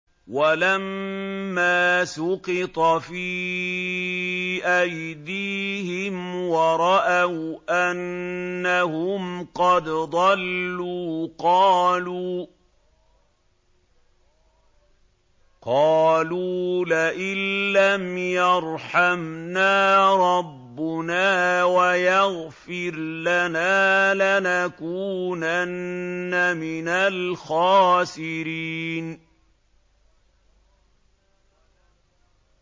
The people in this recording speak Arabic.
وَلَمَّا سُقِطَ فِي أَيْدِيهِمْ وَرَأَوْا أَنَّهُمْ قَدْ ضَلُّوا قَالُوا لَئِن لَّمْ يَرْحَمْنَا رَبُّنَا وَيَغْفِرْ لَنَا لَنَكُونَنَّ مِنَ الْخَاسِرِينَ